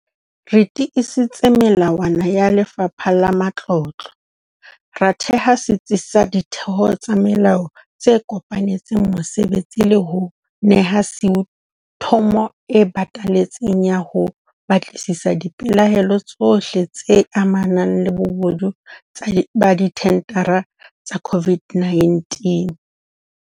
Re tiisitse melawana ya Lefapha la Matlotlo, ra theha setsi sa ditheo tsa molao tse kopanetseng mosebetsi le ho neha SIU thomo e batalletseng ya ho batlisisa dipelaelo tsohle tse amanang le bobodu ba dithendara tsa COVID-19.